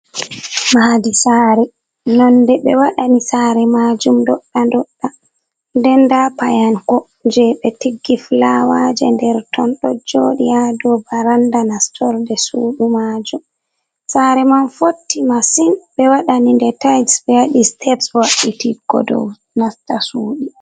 Maadi saare, nonde ɓe waɗani saare majum ndoɗɗa-ndoɗɗa, nden nda payanko je ɓe tiggi flawaje nder ton ɗo joɗi haa dou baranda nastorde sudu majum. Saare man fotti masin, ɓe waɗani nde tais, ɓe waɗi steps wa'itiggo dou nasta suɗi.